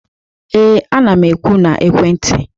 ee, ana m ekwu na ekwentị